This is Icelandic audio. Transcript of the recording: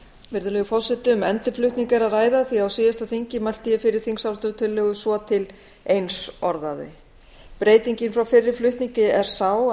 virðulegur forseti um endurflutning er að ræða því að á síðasta þingi mælti ég fyrir þingsályktunartillögu svo til eins orðaðri breytingin frá fyrri flutningi er sú að núna